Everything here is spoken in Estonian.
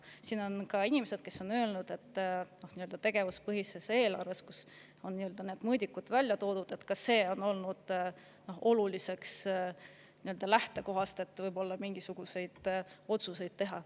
On inimesi, kes on öelnud, et tegevuspõhise eelarve puhul, kus on need mõõdikud välja toodud, on ka need mõõdikud võib-olla oluline lähtekoht, et mingisuguseid otsuseid teha.